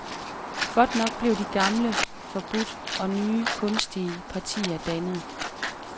Godt nok blev de gamle forbudt og nye kunstige partier dannet.